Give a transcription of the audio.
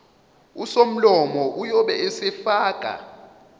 usomlomo uyobe esefaka